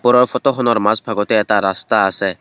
ওপৰৰ ফটোখনৰ মাজ ভাগতে এটা ৰাস্তা আছে।